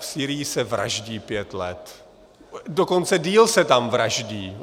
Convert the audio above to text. V Sýrii se vraždí pět let, dokonce déle se tam vraždí.